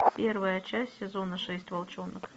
первая часть сезона шесть волчонок